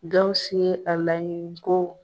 Dawusu ye a laɲini ko